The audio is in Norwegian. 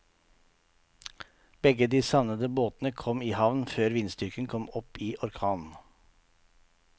Begge de savnede båtene kom i havn før vindstyrken kom opp i orkan.